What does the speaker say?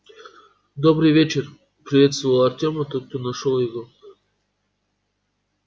добрый вечер приветствовал артёма тот кто нашёл его